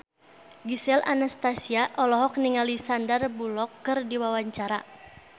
Gisel Anastasia olohok ningali Sandar Bullock keur diwawancara